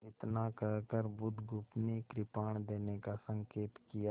इतना कहकर बुधगुप्त ने कृपाण देने का संकेत किया